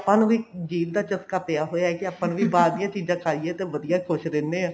ਨੂੰ ਵੀ ਜੀਭ ਦਾ ਚਸਕਾ ਪਿਆ ਹੋਇਆ ਕੀ ਆਪਾਂ ਨੂੰ ਵੀ ਬਾਹਰ ਦੀਆਂ ਚੀਜਾਂ ਖਾਈਏ ਤੇ ਵਧੀਆ ਖੁਸ਼ ਰਹਿਣੇ ਆ